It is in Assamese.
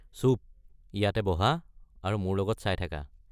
চুপ! ইয়াতে বহা আৰু মোৰ লগত চাই থাকা।